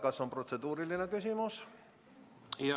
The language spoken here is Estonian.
Kas on protseduuriline küsimus?